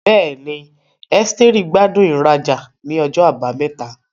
Bẹ́ẹ̀ni, Esteri gbádùn ìrajà ní ọjọ́ Àbámẹ́ta.